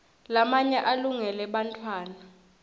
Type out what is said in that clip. lamanye alungele bantfwana